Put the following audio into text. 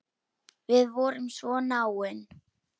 Við vorum svo náin.